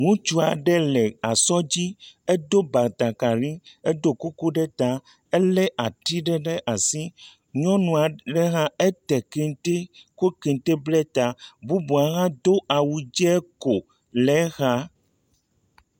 Ŋutsua ɖe le asɔ dzi, edo batakari, edo kuku ɖe ta, elé ati ɖe ɖe asi, nyɔnua ɖe hã ete kente, ko kente ble ta, bubua hã do awu dze ko, le exa.